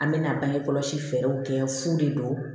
An bɛ na bange kɔlɔsi fɛɛrɛw kɛ fu de don